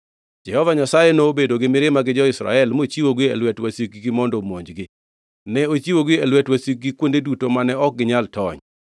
Jehova Nyasaye nobedo gi mirima gi jo-Israel mochiwogi e lwet wasikgi mondo omonjgi. Ne ochiwogi e lwet wasikgi kuonde duto mane ok ginyal tony.